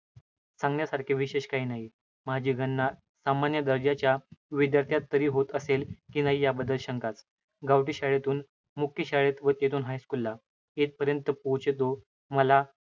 सांगण्यासारखे विशेष काही नाही. माझी गणना सामान्य दर्जा च्या विद्यार्थ्यात तरी होत असेल की नाही यावद्दल शंकाच गावठी शाळेतून मुख्य शाळेत व तेथून high school मध्ये. येथपर्यंत पोचेतो माझ्या